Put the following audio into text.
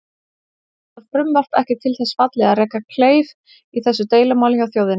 Er þetta frumvarp ekki til þess fallið að reka kleif í þessu deilumáli hjá þjóðinni?